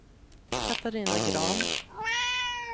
Katarina Grahn